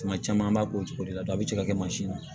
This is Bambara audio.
Tuma caman an b'a k'o cogo de la a bɛ cɛ ka kɛ mansin ye